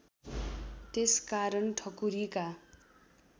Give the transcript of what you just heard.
त्यस कारण ठकुरीका